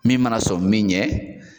Min mana sɔmi min ɲɛ